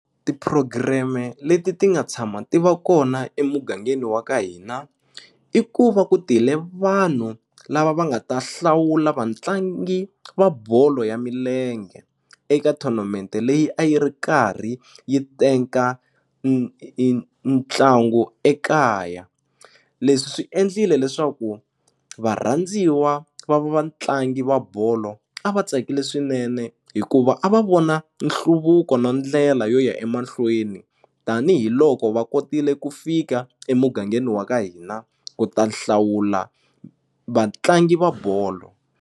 Tipurogireme leti ti nga tshama ti va kona emugangeni wa ka hina i ku va ku tile vanhu lava va nga ta hlawula vatlangi va bolo ya milenge eka tournament leyi a yi ri karhi yi teka ntlangu ekaya leswi swi endlile leswaku varhandziwa va vatlangi va bolo a va tsakile swinene hikuva a va vona nhluvuko na ndlela yo ya emahlweni tanihiloko va kotile ku fika emugangeni wa ka hina ku ta hlawula vatlangi va bolo.